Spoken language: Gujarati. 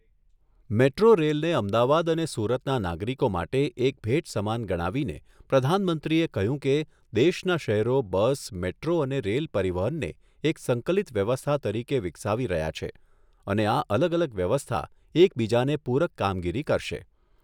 મેટ્રો રેલને અમદાવાદ અને સુરતના નાગરિકો માટે એક ભેટ સમાન ગણાવીને પ્રધાનમંત્રીએ કહ્યું કે, દેશના શહેરો બસ, મેટ્રો અને રેલ પરિવહનને એક સંકલીત વ્યવસ્થા તરીકે વિકસાવી રહ્યા છે અને આ અલગ અલગ વ્યવસ્થા એક બીજાને પૂરક કામગીરી કરશે.